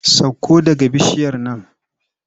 Sakko daga bishiyar nan!